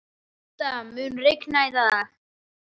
Milda, mun rigna í dag?